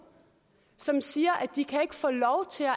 som siger at de ikke kan få lov til at